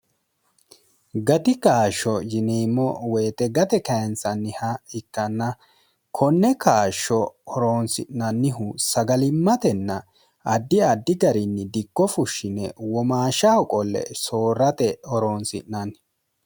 gati gaashsho yineemmo woyixe gate kayentsanniha ikkanna konne kaashsho horoonsi'nannihu sagalimmatenna addi addi garinni dikko fushshine womaashahoqolle soorrate horoontsi'nanni